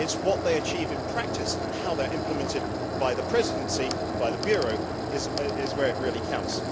It is what they achieve in practice and how they are implemented by the Presidency and by the Bureau that really counts.